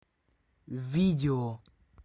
видео